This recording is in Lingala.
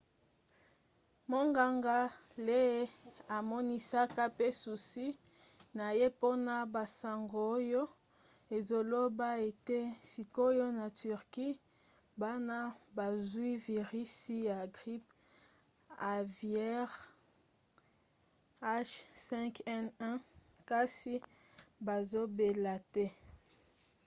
monganga lee amonisaka pe susi na ye mpona basango oyo ezoloba ete sikoyo na turquie bana bazwi virisi ya grippe aviaire h5n1 kasi bazobela te